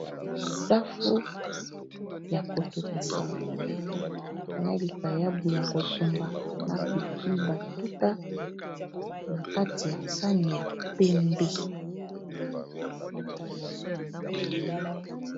Safu ya kotokisa na likayabu ya kotumba na pilipili batuta na kati ya sani ya pembe.